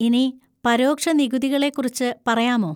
ഇനി പരോക്ഷ നികുതികളെക്കുറിച്ച് പറയാമോ?